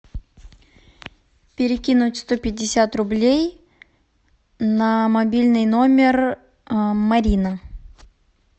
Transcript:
перекинуть сто пятьдесят рублей на мобильный номер марина